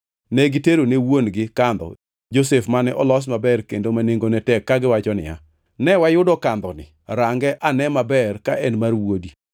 Ne gitero ne wuon-gi kandho Josef mane olos maber kendo ma nengone tek kagiwacho niya, “Ne wayudo kandhoni. Range ane maber ka en mar wuodi.”